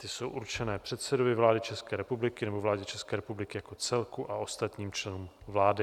Ty jsou určené předsedovi vlády České republiky nebo vládě České republiky jako celku a ostatním členům vlády.